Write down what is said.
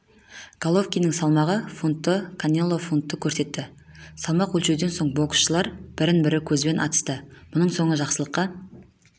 головкиннің салмағы фунтты канело фунтты көрсетті салмақ өлшеуден соң боксшылар бір-бірін көзбен атысты мұның соңы жақсылыққа